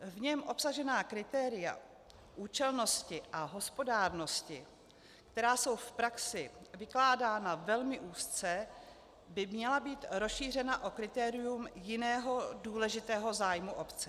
V něm obsažená kritéria účelnosti a hospodárnosti, která jsou v praxi vykládána velmi úzce, by měla být rozšířena o kritérium jiného důležitého zájmu obce.